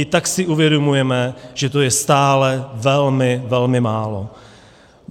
I tak si uvědomujeme, že to je stále velmi, velmi málo.